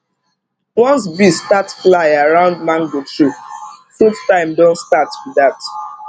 once bee start fly round mango tree fruit time don start be dat